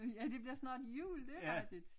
Ja det bliver snart jul det er rigtigt